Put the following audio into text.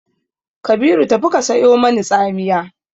Kabiru tafi ka sayo mani tsamiya!